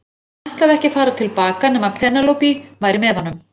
Hann ætlaði ekki að fara til baka nema Penélope væri með honum.